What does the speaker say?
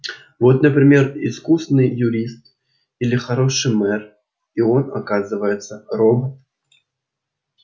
вот например искусный юрист или хороший мэр и он оказывается робот